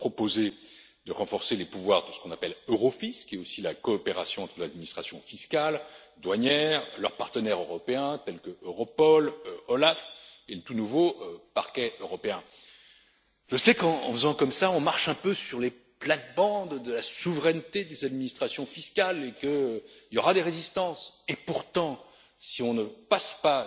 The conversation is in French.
Nous devons proposer de renforcer les pouvoirs de ce qu'on appelle Eurofisc, qui est aussi la coopération entre l'administration fiscale et douanière, leurs partenaires européens, tels qu'Europol, OLAF et le tout nouveau Parquet européen. Je sais que, en procédant de la sorte, nous marchons un peu sur les plates bandes de la souveraineté des administrations fiscales et qu'il y aura des résistances. Pourtant, si on ne passe